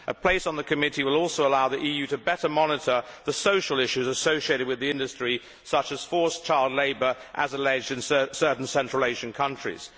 A place on the committee would also allow the EU to better monitor the social issues associated with the industry such as forced child labour, as alleged in certain Central Asian countries.